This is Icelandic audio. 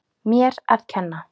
Mér að kenna